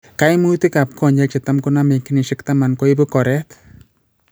Kaimutik ab konyek chetam koname eng' kenyisiek taman koibu koreet